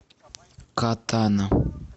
катана